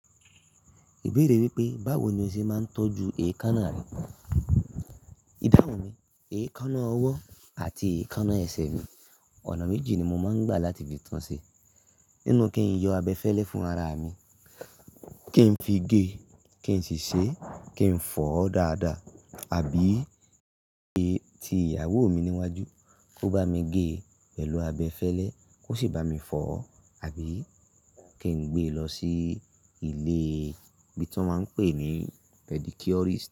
Èbéèrè wípé, báwo ni o ṣe máa ń tọ́jú èékánná rẹ? Ìdáhun mi, èékánná ọwọ́ àti èékánná ẹsẹ̀ mi, ọ̀nà méjì ni mo máa ń gbà láti fi tun ṣe. Nínú kí n yọ abẹfẹ́lẹ́ fún ara mi, kí n fi gé, kí n sì ṣe, kí n fọ dáadáa àbí gé ti ìyàwó mi níwájú. Kó bá mi gé pẹ̀lú abẹfẹ́lẹ́, kó sì bá mi fọ, àbí kí n gbé lọ sí ilé bí ti wọ́n tí máa ń pè ní pedicurist.